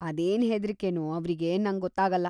ಅದೇನ್ ಹೆದ್ರಿಕೆನೋ ಅವ್ರಿಗೆ ನಂಗೊತ್ತಾಗಲ್ಲ.